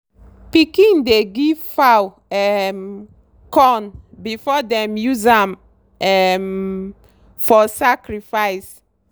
pikin dey give fowl um corn before dem use am um for sacrifice.